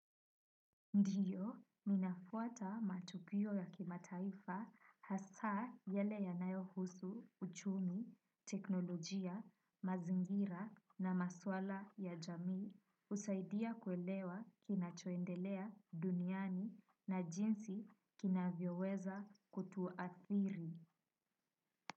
Ndiyo, ninafuata matukio ya kimataifa hasa yale yanayohusu uchumi, teknolojia, mazingira na maswala ya jamii. Husaidia kuelewa kinachoendelea duniani na jinsi kinavyoweza kutuathiri.